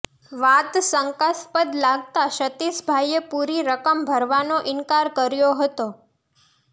વાત શંકાસ્પદ લાગતાં સતિષભાઈએ પુરી રકમ ભરવાનો ઈનકાર કર્યો હતો